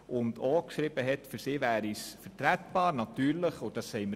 Seiner Ansicht nach wäre diese Massnahme für ihn vertretbar.